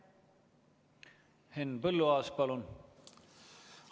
Henn Põlluaas, palun!